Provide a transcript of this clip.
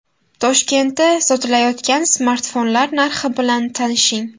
Toshkentda sotilayotgan smartfonlar narxi bilan tanishing.